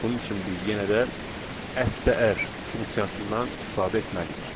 Bunun üçün biz yenə də STR funksiyasından istifadə etməliyik.